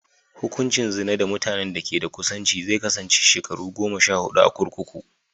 Hukuncin zina da mutanen da ke da kusanci zai kasance shekaru goma sha huɗu a kurkuku.